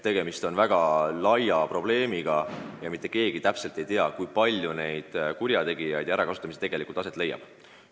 Tegemist on väga ulatusliku probleemiga ja mitte keegi ei tea, kui palju on neid kurjategijaid ja kui palju ärakasutamisi tegelikult aset leiab.